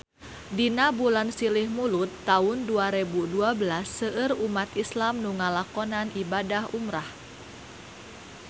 Dina bulan Silih Mulud taun dua rebu dua belas seueur umat islam nu ngalakonan ibadah umrah